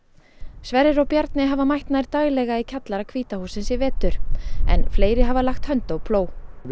Sverrir og Bjarni hafa mætt nær daglega í kjallara hvíta hússins í vetur en fleiri hafa lagt hönd á plóg við